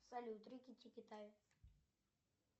салют рики тики тави